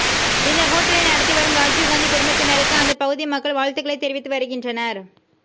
இந்த ஹோட்டலை நடத்தி வரும் ராஜீவ்காந்தி குடும்பத்தினருக்கு அந்த பகுதி மக்கள் வாழ்த்துக்களை தெரிவித்து வருகின்றனர்